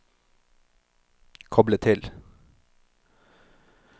koble til